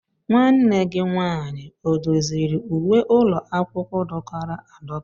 Nwanne gị nwaanyị ọ doziri uwe ụlọ akwụkwọ dọkara adọka?